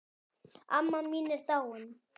Amma mín er dáin.